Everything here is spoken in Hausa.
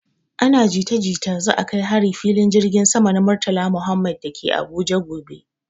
ana jita jita za a kai hari filin jirgin sama na Murtala Muhammed dake Abuja gobe